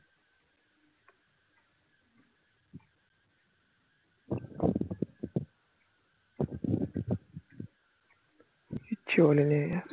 কিচ্ছু বলেনি